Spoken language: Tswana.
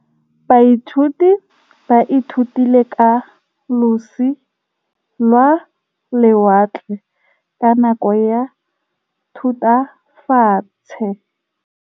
Baithuti ba ithutile ka losi lwa lewatle ka nako ya Thutafatshe.